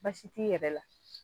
Basi t'i yɛrɛ la